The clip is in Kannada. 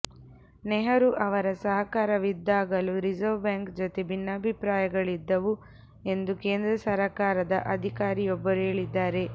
ನೆಹರೂ ಅವರ ಸರಕಾರವಿದ್ದಾಗಲೂ ರಿಸರ್ವ್ ಬ್ಯಾಂಕ್ ಜೊತೆ ಭಿನ್ನಾಭಿಪ್ರಾಯಗಳಿದ್ದವು ಎಂದು ಕೇಂದ್ರ ಸರಕಾರದ ಅಧಿಕಾರಿಯೊಬ್ಬರು ಹೇಳಿದ್ದಾರೆ